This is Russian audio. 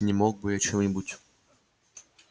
не мог бы я чем-нибудь